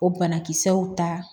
O banakisɛw ta